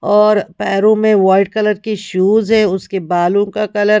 और पैरों में वाइट कलर की शूज है उसके बालों का कलर .